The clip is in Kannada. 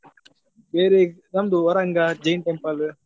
ಬೇರೆ ನಮ್ದು Varanga jain temple .